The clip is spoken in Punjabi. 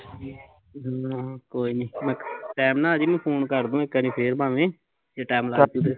ਹਮ ਕੋਈ ਨੀ ਮੈਂ ਟੈਮ ਨਾਲ਼ ਆਜੀ ਮੈਂ ਫੁਨ ਕਰਦੁ ਇੱਕ ਵਾਰੀ ਫੇਰ ਭਾਂਵੇ ਜੇ ਟੈਮ ਲੱਗ ਗਿਆ